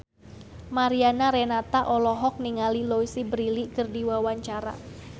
Mariana Renata olohok ningali Louise Brealey keur diwawancara